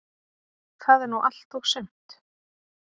Það er nú allt og sumt.